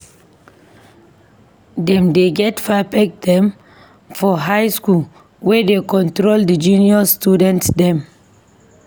Dem dey get prefect dem for high skool wey dey control di junior student dem.